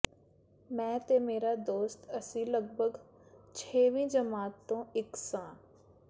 ਮੈਂ ਤੇ ਮੇਰਾ ਦੋਸਤ ਅਸੀਂ ਲਗਭਗ ਛੇਵੀ ਜਮਾਤ ਤੋਂ ਇੱਕ ਸਾਂ